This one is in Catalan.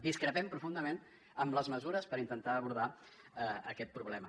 discrepem profundament en les mesures per intentar abordar aquest problema